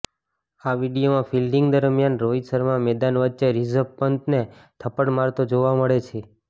આ વીડિયોમાં ફિલ્ડિંગ દરમિયાન રોહિત શર્મા મેદાન વચ્ચે રિષભ પંતને થપ્પડ મારતો જોવા મળે છે